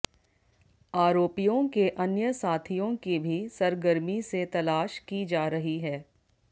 आरोपियों के अन्य साथियों की भी सरगर्मी से तलाश की जा रही है